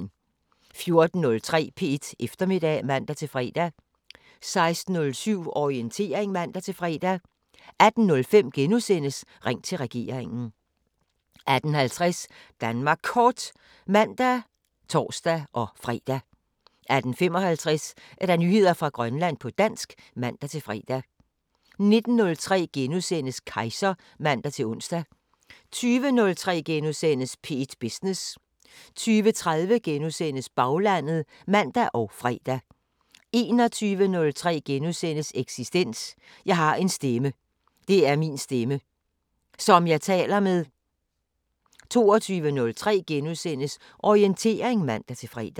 14:03: P1 Eftermiddag (man-fre) 16:07: Orientering (man-fre) 18:05: Ring til regeringen * 18:50: Danmark Kort (man og tor-fre) 18:55: Nyheder fra Grønland på dansk (man-fre) 19:03: Kejser *(man-ons) 20:03: P1 Business * 20:30: Baglandet *(man og fre) 21:03: Eksistens: Jeg har en stemme. Det er min stemme. Som jeg taler med. * 22:03: Orientering *(man-fre)